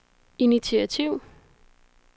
initiativ